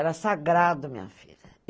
Era sagrado, minha filha.